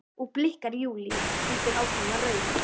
og blikkar Júlíu, heldur áfram að raula.